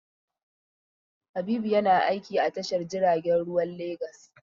Habibu yana aiki a tashar jiragen ruwan Legas.